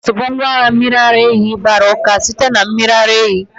Yogot bụ ngwaahịa mmiri ara ehi gbara uka sitere na mmiri ara ehi